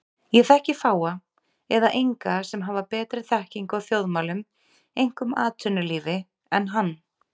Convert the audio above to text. Ég þekki fáa eða enga sem hafa betri þekkingu á þjóðmálum, einkum atvinnulífi, en hann.